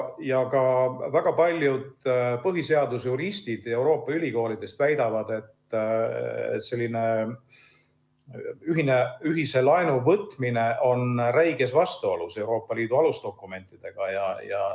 Ka väga paljud põhiseadusjuristid Euroopa ülikoolidest väidavad, et selline ühise laenu võtmine on räiges vastuolus Euroopa Liidu alusdokumentidega.